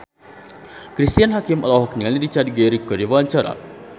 Cristine Hakim olohok ningali Richard Gere keur diwawancara